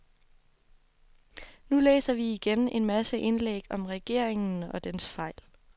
Nu læser vi igen en masse indlæg om regeringen og dens fejl.